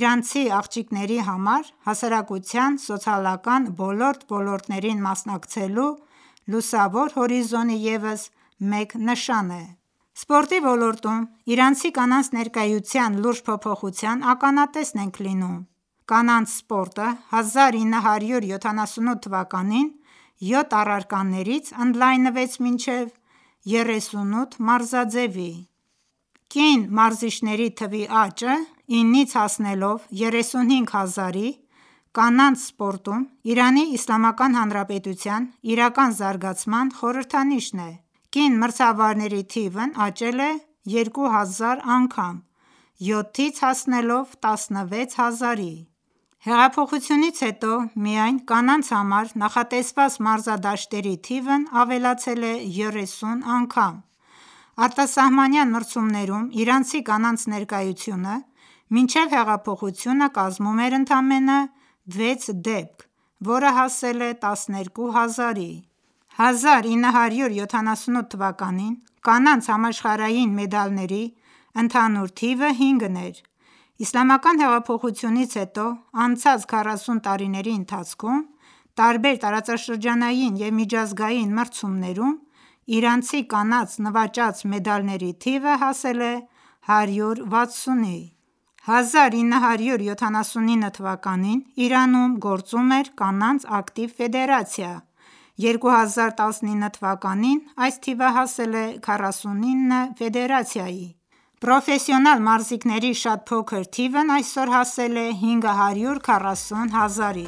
իրանցի աղջիկների համար հասարակության սոցիալական բոլոր ոլորտներին մասնակցելու լուսավոր հորիզոնի ևս մեկ նշան է։ Սպորտի ոլորտում իրանցի կանանց ներկայության լուրջ փոփոխության ականատես ենք լինում։ Կանանց սպորտը 1978 թվականին յոթ առարկաներից ընդլայնվեց մինչև 38 մարզաձևի: Կին մարզիչների թվի աճը 9-ից հասնելով 35000-ի, կանանց սպորտում Իրանի Իսլամական Հանրապետության իրական զարգացման խորհրդանիշն է: Կին մրցավարների թիվն աճել է 2000 անգամ՝ 7-ից հասնելով 16000-ի։ Հեղափոխությունից հետո միայն կանանց համար նախատեսված մարզադաշտերի թիվն ավելացել է 30 անգամ։ Արտասահմանյան մրցումներում իրանցի կանանց ներկայությունը մինչ հեղափոխությունը կազմում էր ընդամենը 6 դեպք, որը հասել է 12000-ի։ 1978 թվականին կանանց համաշխարհային մեդալների ընդհանուր թիվը հինգն էր, Իսլամական հեղափոխությունից հետո անցած 40 տարիների ընթացքում տարբեր տարածաշրջանային և միջազգային մրցումներում իրանցի կանանց նվաճած մեդալների թիվը հասել է 160-ի: 1979 թվականին Իրանում գործում էր կանանց ակտիվ ֆեդերացիա, 2019 թվականին այս թիվը հասել է 49 ֆեդերացիայի։ Պրոֆեսիոնալ մարզիկների շատ փոքր թիվն այսօր հասել է 540.000-ի: